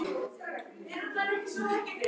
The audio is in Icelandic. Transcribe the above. Þau hafa athvarf í risinu.